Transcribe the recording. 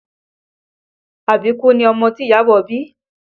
Àbíkú ni ọmọ tí Iyabọ̀ bí